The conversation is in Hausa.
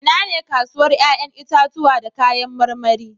Inane kasuwar 'ƴa'ƴan itatuwa da kayan marmari?